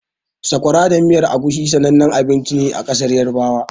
Sakwara da miyar Egusi sanannen abinci ne a ƙasar Yarabawa.